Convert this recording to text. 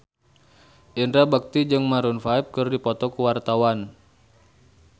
Indra Bekti jeung Maroon 5 keur dipoto ku wartawan